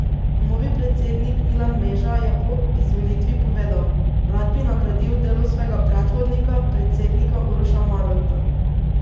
Novi predsednik Milan Meža je po izvolitvi povedal: 'Rad bi nadgradil delo svojega predhodnika, predsednika Uroša Marolta.